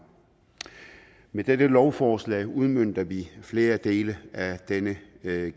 med dette lovforslag udmønter vi flere dele af denne